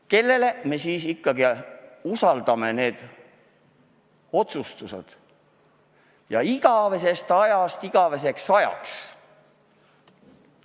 Kellele me siis ikkagi usaldame need otsustused igavesest ajast igaveseks ajaks?